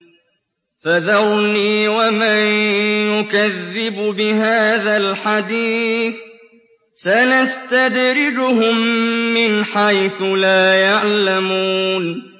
فَذَرْنِي وَمَن يُكَذِّبُ بِهَٰذَا الْحَدِيثِ ۖ سَنَسْتَدْرِجُهُم مِّنْ حَيْثُ لَا يَعْلَمُونَ